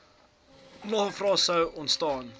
navrae sou ontstaan